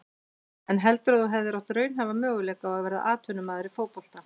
En heldurðu að þú hefðir átt raunhæfa möguleika á að verða atvinnumaður í fótbolta?